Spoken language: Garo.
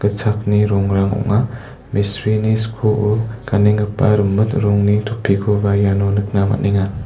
gitchakni rongrang ong·a mistrini skoo ganenggipa rimit rongni topikoba iano nikna man·enga.